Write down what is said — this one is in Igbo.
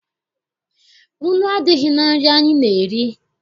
Nnu adịghị na nri anyị na-eri.